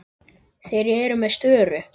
Þeir eru með störu.